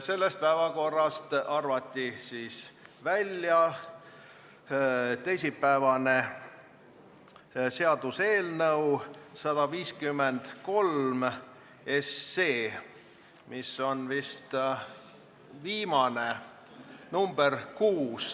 Sellest päevakorrast arvati välja teisipäevane seaduseelnõu 153, mis oli teisipäeval vist viimane päevakorrapunkt, nr 6.